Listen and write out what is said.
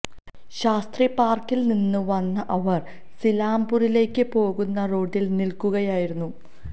ശാസ്ത്രി പാർക്കിൽ നിന്ന് വന്ന അവർ സീലാംപൂരിലേക്ക് പോകുന്ന റോഡിൽ നിൽക്കുകയായിരുന്നു